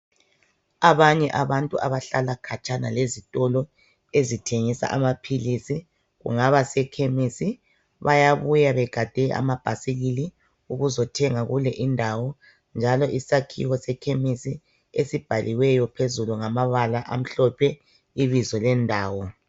Abanye abantu abahlala khatshana lezitolo ezithengisa amaphilisi kungaba sekhemisi bayabuya begade amabhasikili ukuzothenga kule indawo njalo isakhiwo sekhemisi esibhaliweyo phezulu ngamabala amhlophe ibizo lendawo.